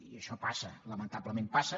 i això passa lamentablement passa